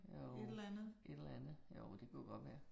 Jo, et eller andet. Jo, det kunne godt være